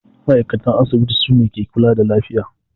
Ma'aikatan asibiti sune ke kula da lafiya